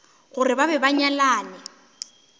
gore ba be ba nyalane